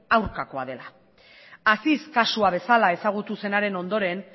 aurkakoa dela aziz kasua bezala ezagutu zenaren ondoren